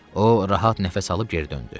O rahat nəfəs alıb geri döndü.